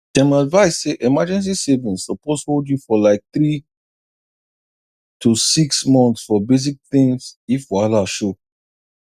dem advise say emergency savings suppose hold you for like three to six months for basic things if wahala show